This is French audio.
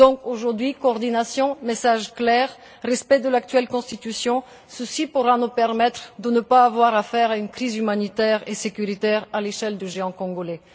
Aujourd'hui, donc, coordination, message clair, respect de l'actuelle Constitution, cela pourra nous permettre de ne pas avoir affaire à une crise humanitaire et sécuritaire à l'échelle du géant congolais.